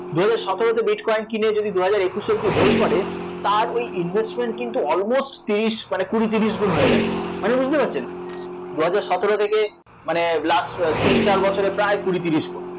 দুহাজার সতেরোতে bitcoin কিনে যদি দুহাজার একুশ অবধি hold করে তার ওই investment কিন্তু almost তিরিশ মানে কুড়ি তিরিশ গুন হয়ে গেছে, মানে বুঝতে পারছেন? দুহাজার সতেরো থেকে মানে last তিন চার বছরে প্রায় কুড়ি তিরিশ গুন